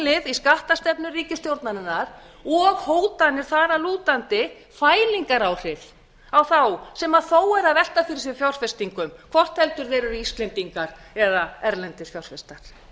í skattastefnu ríkisstjórnarinnar og hótanir þar að lútandi fælingaráhrif á þá sem þó eru að velta fyrir sér fjárfestingum hvort heldur það eru íslendingar eða erlendir fjárfestar